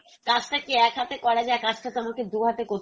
কাজটা কি এক হাতে করা যায়? কাজটা তো আমাকে দুই হাতে